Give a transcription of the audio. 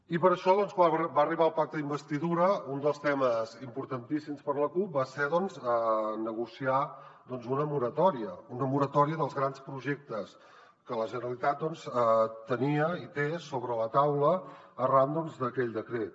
i per això quan va arribar el pacte d’investidura un dels temes importantíssims per a la cup va ser negociar una moratòria una moratòria dels grans projectes que la generalitat tenia i té sobre la taula arran d’aquell decret